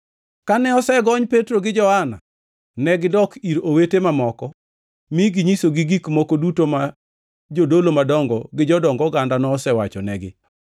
Kane osegony Petro gi Johana, negidok ir owete mamoko mi ginyisogi gik moko duto ma jodolo madongo gi jodong oganda nosewachonegi.